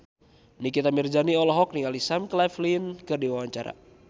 Nikita Mirzani olohok ningali Sam Claflin keur diwawancara